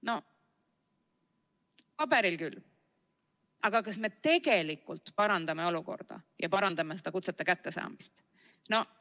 No paberil küll, aga kas me tegelikult parandame olukorda ja parandame kutsete kättesaamist?